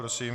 Prosím.